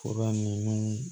Fura nunnu